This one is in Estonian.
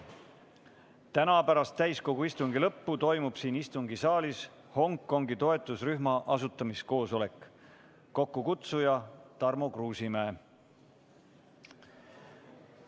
Täna pärast täiskogu istungi lõppu toimub siin istungisaalis Hongkongi toetusrühma asutamise koosolek, kokkukutsuja on Tarmo Kruusimäe.